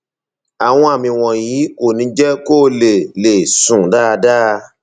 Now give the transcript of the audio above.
àwọn àmì wọnyí kò ní jẹ kó lè lè sùn dáadáa